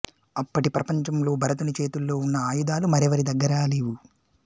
అప్పటి ప్రపంచంలో భరతుని చేతుల్లో ఉన్న ఆయుధాలు మరెవరి దగ్గరాలేవు